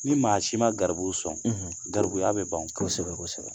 Ni maa si ma garibu sɔn garibuya bɛ ban o kɔsɛbɛ kosɛbɛ, kosɛbɛ